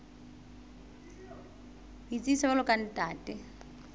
ho itsebisa jwalo ka ntate